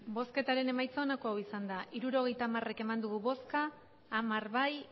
hirurogeita hamar eman dugu bozka hamar bai